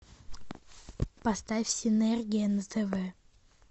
поставь синергия на тв